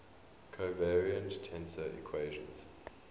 covariant tensor equations